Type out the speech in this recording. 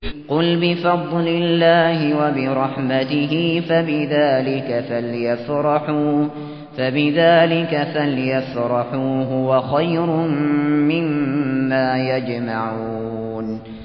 قُلْ بِفَضْلِ اللَّهِ وَبِرَحْمَتِهِ فَبِذَٰلِكَ فَلْيَفْرَحُوا هُوَ خَيْرٌ مِّمَّا يَجْمَعُونَ